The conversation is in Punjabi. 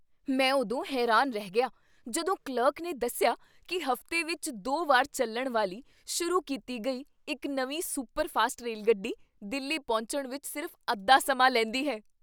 ਮੈਂ ਉਦੋਂ ਹੈਰਾਨ ਰਹਿ ਗਿਆ ਜਦੋਂ ਕਲਰਕ ਨੇ ਦੱਸਿਆ ਕੀ ਹਫ਼ਤੇ ਵਿੱਚ ਦੋ ਵਾਰ ਚੱਲਣ ਵਾਲੀ ਸ਼ੁਰੂ ਕੀਤੀ ਗਈ ਇੱਕ ਨਵੀਂ ਸੁਪਰਫਾਸਟ ਰੇਲਗੱਡੀ ਦਿੱਲੀ ਪਹੁੰਚਣ ਵਿੱਚ ਸਿਰਫ਼ ਅੱਧਾ ਸਮਾਂ ਲੈਂਦੀ ਹੈ!